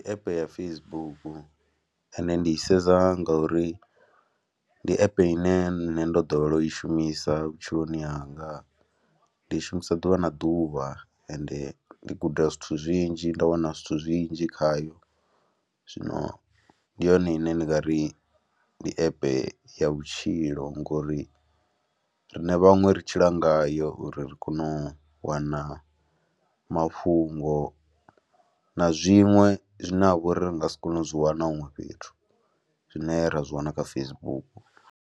App ya Facebook, ende ndi sedza ngauri ndi app ine nṋe ndo ḓowela u i shumisa vhutshiloni hanga, ndi i shumisa ḓuvha na ḓuvha ende ndi guda zwithu zwinzhi nda wana zwithu zwinzhi khayo, zwino ndi yone ine ndi nga ri ndi app ya vhutshilo ngori riṋe vhaṅwe ri tshila ngayo uri ri kone u wana mafhungo na zwiṅwe zwine ha vha uri ri nga si kone u zwi wana huṅwe fhethu, zwine ra zwi wana kha Facebook.